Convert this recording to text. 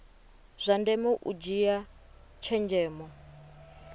zwa ndeme u dzhia tshenzhemo